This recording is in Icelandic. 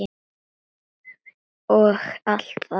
og allt það.